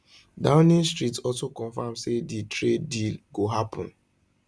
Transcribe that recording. downing street also confam say di trade deal go happun